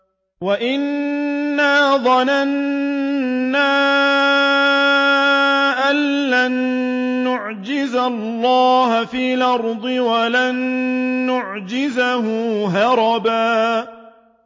وَأَنَّا ظَنَنَّا أَن لَّن نُّعْجِزَ اللَّهَ فِي الْأَرْضِ وَلَن نُّعْجِزَهُ هَرَبًا